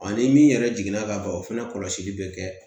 Ani min yɛrɛ jiginna ka ban o fana kɔlɔsili bɛ kɛ